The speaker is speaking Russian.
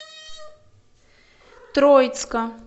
троицка